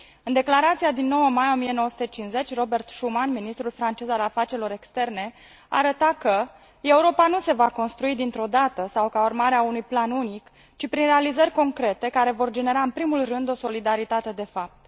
În declarația din 9 mai 1950, Robert Schuman, ministrul francez al afacerilor externe, arăta că Europa nu se va construi dintr o dată sau ca urmare a unui plan unic, ci prin realizări concrete, care vor genera în primul rând o solidaritate de fapt.